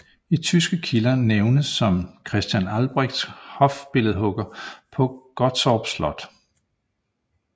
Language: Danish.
I tyske kilder nævnes som Christian Albrechts hofbilledhugger på Gottorp Slot